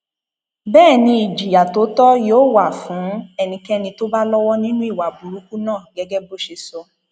bẹẹ ni ìjìyà tó tọ yóò wà fún ẹnikẹni tó bá lọwọ nínú ìwà burúkú náà gẹgẹ bó ṣe sọ